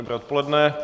Dobré odpoledne.